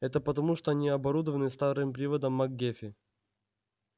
это потому что они оборудованы старым приводом мак-геффи